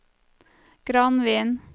Granvin